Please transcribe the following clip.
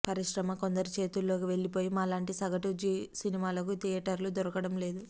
పరిశ్రమ కొందరి చేతుల్లోకి వెళ్ళిపోయి మా లాంటి సగటు సినిమాలకి థియేటర్లు దొరకడం లేదు